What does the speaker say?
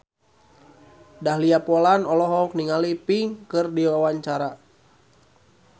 Dahlia Poland olohok ningali Pink keur diwawancara